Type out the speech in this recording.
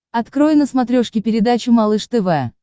открой на смотрешке передачу малыш тв